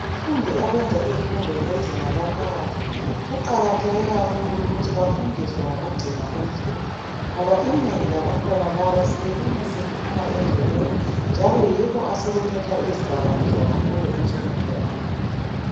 Abafundi abenza izifundo zezinga laphakathi, kuqakatheke kakhulu ukuthi bafundiswe ngokugcina umthetho. Ngoba inengi labantwana laba silibona seliphuma endleleni njalo yibo asebethatha izidakamizwa kakhulu ensukwini zanamuhla.